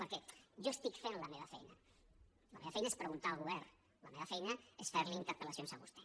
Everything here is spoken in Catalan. perquè jo estic fent la meva feina la meva feina és preguntar al govern la meva feina és fer li interpel·lacions a vostè